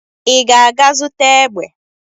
Ị ga-aga zụta egbe?